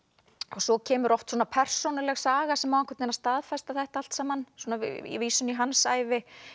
svo kemur oft persónuleg saga sem á að staðfesta þetta allt saman vísun í hans ævi